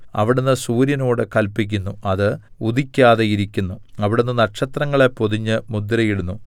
അവിടുന്ന് സൂര്യനോട് കല്പിക്കുന്നു അത് ഉദിക്കാതെയിരിക്കുന്നു അവിടുന്ന് നക്ഷത്രങ്ങളെ പൊതിഞ്ഞ് മുദ്രയിടുന്നു